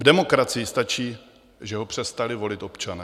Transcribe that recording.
V demokracii stačí, že ho přestali volit občané.